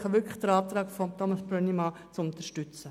Ich bitte Sie wirklich, den Antrag Brönnimann zu unterstützen.